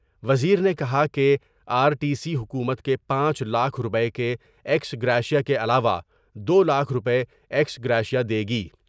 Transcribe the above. وزیر نے کہا کہ آرٹی سی حکومت کے پانچ لاکھ روپے کے ایکس گریشیا کے علاوہ دولاکھ روپے ایکس گریشیا دے گی ۔